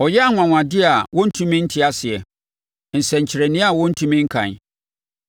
Ɔyɛ anwanwadeɛ a wɔntumi nte aseɛ, nsɛnkyerɛnneɛ a wɔntumi nkan.